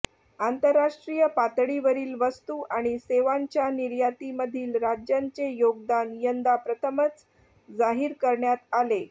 आंतरराष्ट्रीय पातळीवरील वस्तू आणि सेवांच्या निर्यातीमधील राज्यांचे योगदान यंदा प्रथमच जाहीर करण्यात आले